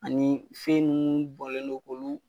Ani fɛn ninnu bɔnlen don k'olu.